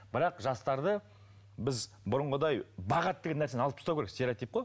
бірақ жастарды біз бұрынғыдай бағады деген нәрсені алып тастау керек стеоротип қой